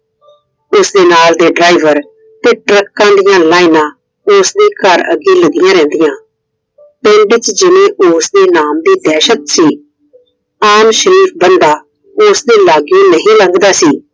ਉਸਦੇ ਨਾਲ ਦੇ ਡਰਾਈਵਰ ਤੇ ਟਰੱਕਾਂ ਦੀਆ ਲੈਣਾਂ ਉਸ ਦੇ ਘਰ ਦੇ ਅੱਗੇ ਲੱਗੀਆਂ ਰਹਿੰਦੀਆਂ। ਪਿੰਡ ਵਿੱਚ ਜਿੰਨੀ ਉਸਦੇ ਨਾਮ ਦੀ ਦਹਿਸ਼ਤ ਸੀ। ਆਮ ਸ਼ਰੀਫ ਬੰਦਾ ਉਸਦੇ ਲਾਗੈ ਨਹੀਂ ਲੱਗਦਾ ਸੀ।